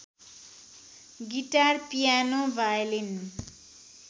guitar piano violin